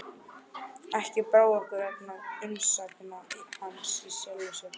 Ekki brá okkur vegna umsagna hans í sjálfu sér.